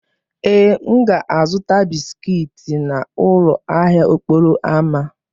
Ee, m ga-azụta bisikiiti n'ụlọ ahịa okporo ámá.